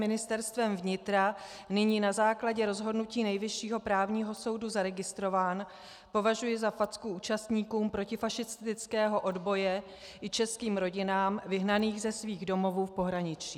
Ministerstvem vnitra nyní na základě rozhodnutí Nejvyššího správního soudu zaregistrován, považuji za facku účastníkům protifašistického odboje i českým rodinám vyhnaným ze svých domovů v pohraničí.